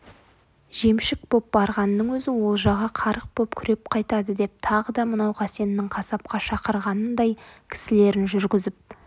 жемшік боп барғанның өзі олжаға қарық боп күреп қайтады деп тағы да мынау қасеннің қасапқа шақырғанындай кісілерін жүргізіп